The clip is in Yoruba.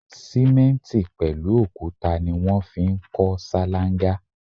Simenti pẹlu òkúta ni wọn fi ń kọ ṣalanga